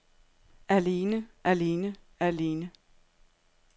alene alene alene